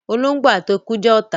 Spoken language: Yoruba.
ológbò àti eku jẹ́ ọ̀tá